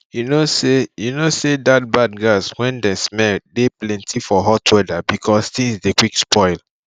you know say you know say that bad gas wen de smell dey plenty for hot weather because things dey quick spoil